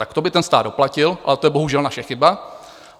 Tak to by ten stát doplatil, ale to je bohužel naše chyba.